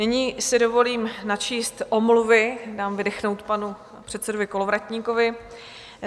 Nyní si dovolím načíst omluvy, dám vydechnout panu předsedovi Kolovratníkovi.